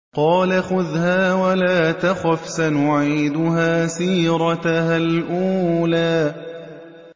قَالَ خُذْهَا وَلَا تَخَفْ ۖ سَنُعِيدُهَا سِيرَتَهَا الْأُولَىٰ